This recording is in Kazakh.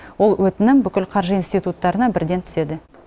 ол өтінім бүкіл қаржы институттарына бірден түседі